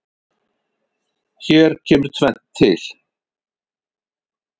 Hér kemur tvennt til.